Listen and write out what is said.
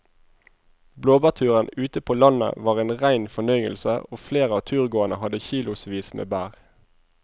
Blåbærturen ute på landet var en rein fornøyelse og flere av turgåerene hadde kilosvis med bær.